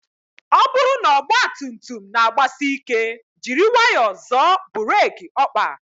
Ọ bụrụ na ọgba tum tum na agbasị ike, jiri nwayọọ zoọ burek okpa